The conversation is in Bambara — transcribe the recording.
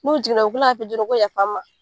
N'u jiginna u bɛ kila ka f'i ye joona ko yafa n ma.